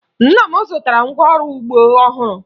Nna m zụtara ngwaọrụ ugbo ọhụrụ